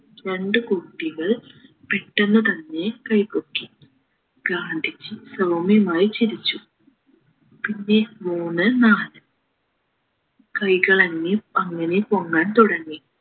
രണ്ടു കുട്ടികൾ പെട്ടന്നു തന്നെ കൈ പൊക്കി ഗാന്ധിജി സൗമ്യമായി ചിരിച്ചു പിന്നെ മൂന്ന് നാല് കൈകൾ അങ്ങേ അങ്ങനെ പൊങ്ങാൻ തുടങ്ങി